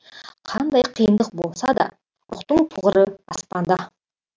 қандай қиындық болса да рухтың тұғыры аспанда